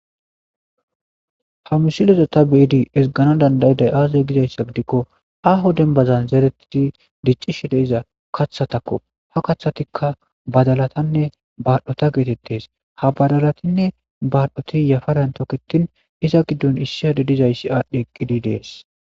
Ha misileza ta beyada ezigana danda'day aaze gizaysa gidikon aho dembazan zeretidd dicishe diza kathatako. Ha kathatika badalatanne badhota getetes. Ha badalatanne badhot yafaran toketin iza gidon issi adey dizays adhi eqid Des.